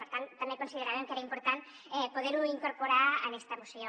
per tant també consideràvem que era important poder ho incorporar en esta moció